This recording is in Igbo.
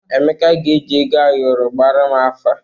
Emeka ga-eji ego ayọrọ gbaara m afa.